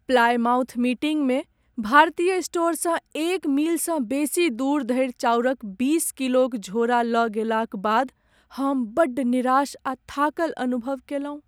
Plymouth meeting मे भारतीय स्टोरसँ एक मीलसँ बेसी दूर धरि चाउरक बीस किलोक झोरा लऽ गेलाक बाद हम बड्ड निराश आ थाकल अनुभव कयलहुँ ।